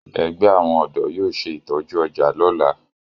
Egbe awon ọdọ yóò ṣe itọju ọja lola.